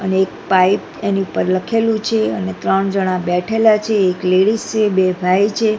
અને એક પાઇપ એની ઉપર લખેલું છે અને ત્રણ જણા બેઠેલા છે એક લેડીઝ છે બે ભાઈ છે.